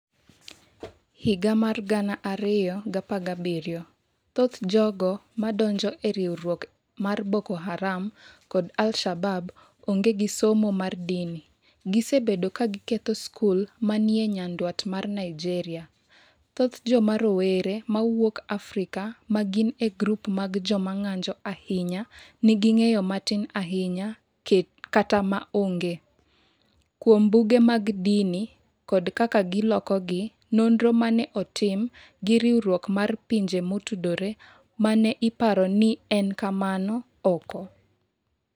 2017 Thoth jogo ma donjo e riwruok mar Boko Haram kod al-Shabab onge gi somo mar dini. ", gisebedo ka giketho skul ma ni e nyandwat mar Nigeria. Thoth joma rowere ma wuok Afrika ma gin e grup mag joma ng’anjo ahinya nigi "ng’eyo matin ahinya kata ma onge" kuom buge mag dini kod kaka gilokogi, nonro ma ne otim gi Riwruok mar Pinje Motudore ma ne iparo ni en kamano . oko.